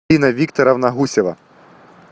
инна викторовна гусева